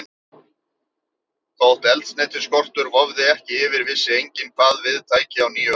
Þótt eldsneytisskortur vofði ekki yfir, vissi enginn, hvað við tæki á nýju ári.